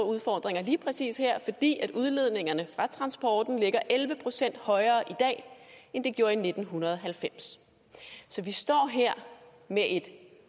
udfordringer lige præcis her fordi udledningerne fra transporten ligger elleve procent højere i dag end de gjorde i nitten halvfems så vi står her med et